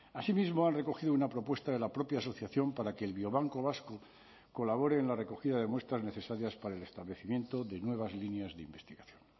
asimismo han recogido una propuesta de la propia asociación para que el biobanco vasco colabore en la recogida de muestras necesarias para el establecimiento de nuevas líneas de investigación